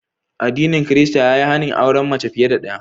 Addinin Kirista ya yi hani auren mace fiye da daya.